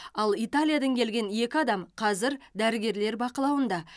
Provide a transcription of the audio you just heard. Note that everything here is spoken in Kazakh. ал италиядан келген екі адам қазір дәрігерлер бақылауында